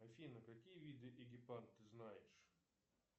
афина какие виды эгипан ты знаешь